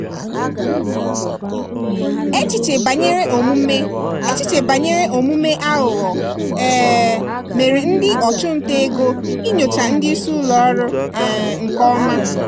echiche banyere omume echiche banyere omume aghụghọ um mere ndị ọchụnta ego inyocha ndị isi ụlọọrụ um nke ọma.